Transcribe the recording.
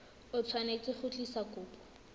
o tshwanetse go tlisa kopo